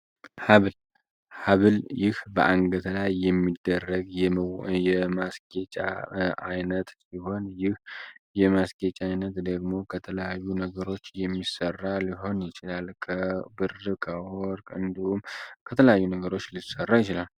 ሀብል ሀብል ይህ በአንገተ ላይ የሚደረግ የማስጌጫ ዓይነት ሲሆን ይህ የማስጌጫ ዓይነት ደግሞ ከተለዩ ነገሮች የሚሰራ ሊሆን ይችላል። ከብረት፣ ከወርቅ እንድሁም ከተለያዩ ነገሮች ሊሰራ ይችላል።